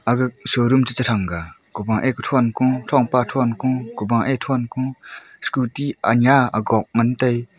aga showroom chi chang kha o pa ek ye thong ko thong pa thong scooty anyia agon ngan tai.